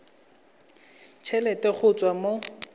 t helete go tswa mo